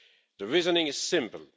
The reasoning is simple.